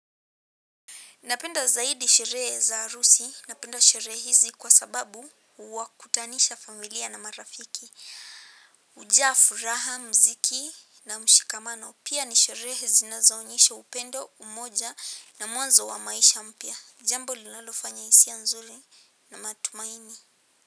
Napenda zaidi sherehe za harusi. Napenda sherehe hizi kwa sababu huwakutanisha familia na marafiki. Ujaa furaha, mziki na mshikamano. Pia ni sherehe zinazoonyesha upendo, umoja na mwanzo wa maisha mpya. Jambo linalofanya hisia nzuri na matumaini.